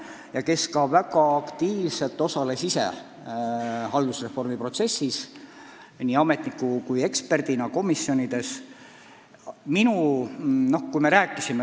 Ta osales väga aktiivselt ka ise haldusreformi protsessis – nii ametnikuna kui ka eksperdina komisjonides.